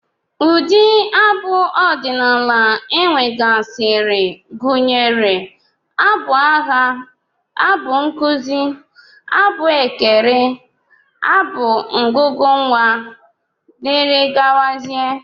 Ụdị abụ ọdịnala e nwegasịrị gụnyere abụ agha, abụ nkụzi, abụ ekere, abụ ngụgụ nnwa, dgz